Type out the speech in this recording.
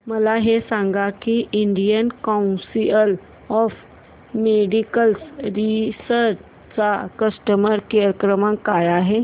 मला हे सांग की Indian Council of Medical Research चा कस्टमर केअर क्रमांक काय आहे